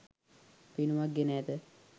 පෙනුමක් ගෙන ඇත.